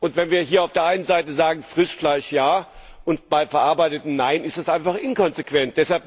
Wenn wir hier auf der einen Seite sagen Frischfleisch ja, bei verarbeitetem Fleisch nein, ist das einfach inkonsequent.